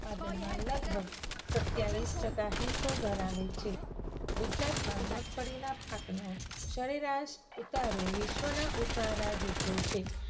ઉત્પાદનમાં લગભગ સત્યાવીસ ટકા હિસ્સો ધરાવે છે. ગુજરાતમાં મગફળીના પાકનો સરેરાશ ઉતારો વિશ્વના ઉતારા જેટલો છે.